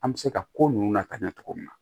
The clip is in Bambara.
An bɛ se ka ko nunnu lakana cogo min na